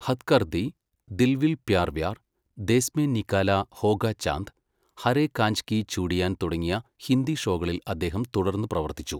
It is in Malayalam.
ഹദ് കർ ദി, ദിൽ വിൽ പ്യാർ വ്യാർ, ദേസ് മേ നിക്ക്ലാ ഹോഗാ ചാന്ദ്, ഹരേ കാഞ്ച് കി ചൂഡിയാൻ തുടങ്ങിയ ഹിന്ദി ഷോകളിൽ അദ്ദേഹം തുടർന്ന് പ്രവർത്തിച്ചു.